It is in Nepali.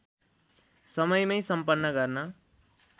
समयमै सम्पन्न गर्न